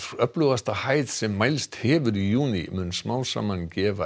öflugasta hæð sem mælst hefur í júní mun smám saman gefa